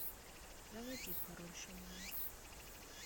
заводи король шаманов